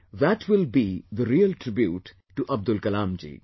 That will be the real tribute to Abdul Kalamji